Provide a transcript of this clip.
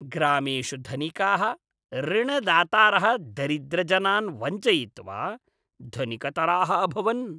ग्रामेषु धनिकाः ऋणदातारः दरिद्रजनान् वञ्चयित्वा धनिकतराः अभवन्।